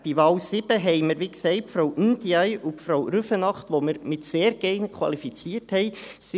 Bei Wahl 7 haben wir, wie gesagt, Frau Ndiaye und Frau Rüfenacht, die wir mit «sehr geeignet» qualifiziert haben.